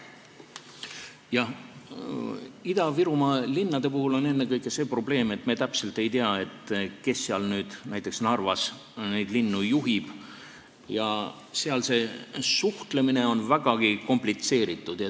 Jah, Ida-Virumaa linnadega on ennekõike see probleem, et me täpselt ei tea, kes seal nüüd neid linnu juhib, näiteks Narvat, ja see suhtlemine on seal vägagi komplitseeritud.